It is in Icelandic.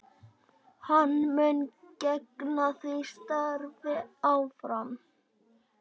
Hann mun gegna því starfi áfram